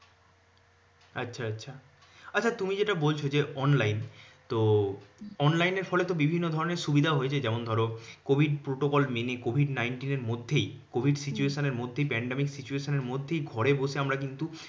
আচ্ছা আচ্ছা। আচ্ছা তুমি যেটা বলছ অনলাইন তো অনলাইনের ফলে তো বিভিন্ন ধরনের সুবিধা হয়েছে যেমন ধরো covid protocol মেনে covid nineteen এর মধ্যেই covid situation এর মধ্যেই pandemic situation এর মধ্যেই ঘরে বসে আমরা কিন্তু